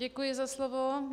Děkuji za slovo.